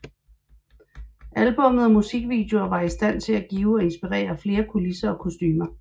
Albummet og musikvideoer var i stand til at give og inspirere flere kulisser og kostumer